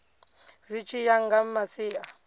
zwi tshi ya nga masia